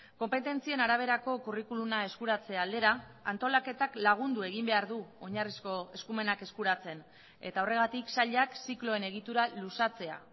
konpetentzien araberako curriculuma eskuratze aldera antolaketak lagundu egin behar du oinarrizko eskumenak eskuratzen eta horregatik sailak zikloen egitura luzatzea